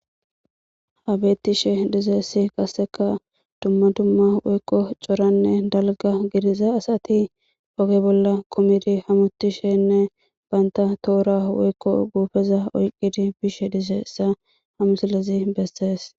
Ha beetishe dizayssi qasekka dumma dumma woykko coranne dalga gidiza asati oge bolla kumidi hamuutishenne banta tohora woykko guupeza oyqidi bishe dizayssa ha misilezi besees.